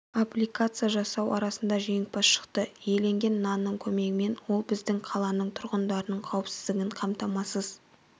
аппликация жасау арасында жеңімпаз шықты иленген нанның көмегімен ол біздің қаланың тұрғындарының қауіпсіздігін қамтамасыз